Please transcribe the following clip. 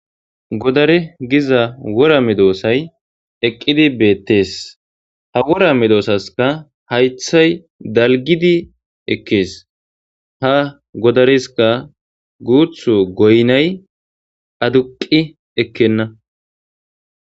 Goddare gizza wora meddosayi eqqidi bettes ha wora meddosasika hayiththay dalggidi ekkes ha goddaresika guthu goyinay adduqi ekkena.